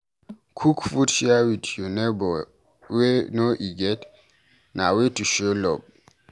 Cook food share wit you nebor wey no e get, na way to show love.